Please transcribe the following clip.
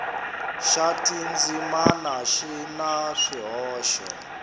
xa tindzimana xi na swihoxo